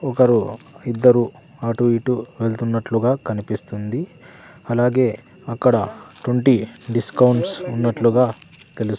ఒకరు ఇద్దరు అటు ఇటు వెళ్తున్నట్లుగా కనిపిస్తుంది అలాగే అక్కడ టొంటీ డిస్కౌంట్స్ ఉన్నట్లుగా తెలుస్--